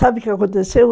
Sabe o que aconteceu?